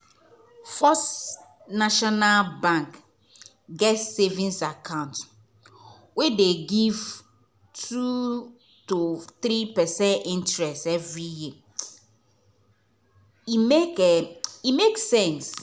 first national bank get savings account wey dey give 2.3 percent interest every year — e make e make sense.